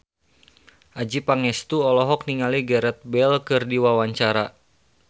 Adjie Pangestu olohok ningali Gareth Bale keur diwawancara